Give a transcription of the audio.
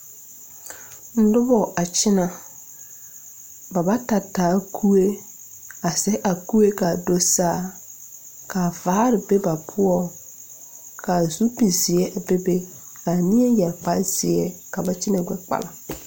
Nobɔ a kyinɛ ba bata taa kuee a zege a kuee kaa do saa kaa vaare be ba poɔ kaa zupil zeɛ bebe kaa neɛ yɛre kparezeɛ ka ba kyinɛ gbɛ kpala.